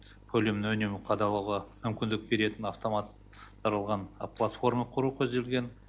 көлемін үнемі қадағалауға мүмкіндік беретін автомат тандырылған платформа құру көзделген